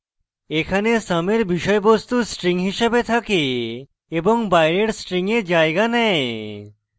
এখানে sum এর বিষয়বস্তু string হিসেবে থাকে এবং বাইরের string a জায়গা নেয়